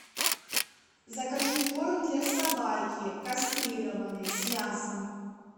закажи корм для собаки кастрированной с мясом